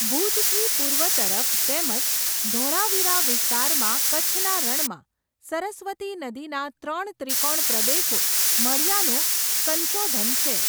ભૂજથી પૂર્વ તરફ તેમજ ધોળાવીરા વિસ્તારમાં કચ્છના રણમાં, સરસ્વતી નદીના ત્રણ ત્રિકોણ પ્રદેશો , મળ્યાનું સંશોધન છે.